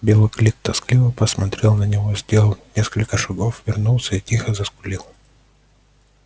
белый клык тоскливо посмотрел на него сделал несколько шагов вернулся и тихо заскулил